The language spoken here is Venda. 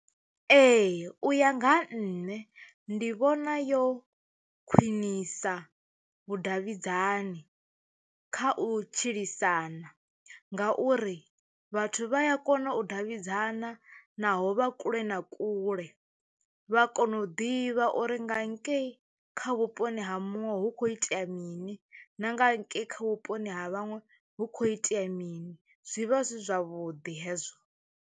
Ee u ya nga ha nṋe ndi vhona yo khwinisa vhudavhidzani kha u tshilisana, nga uri vhathu vha ya kona u davhidzana naho vha kule na kule vha kona u ḓivha uri nga ngei kha vhuponi ha muṅwe hu kho itea mini na nga ngei kha vhuponi ha vhaṅwe hu kho itea mini zwivha zwi zwavhuḓi hezwo.